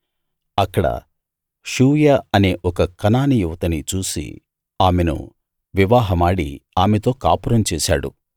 అక్కడ షూయ అనే ఒక కనానీ యువతిని చూసి ఆమెను వివాహమాడి ఆమెతో కాపురం చేశాడు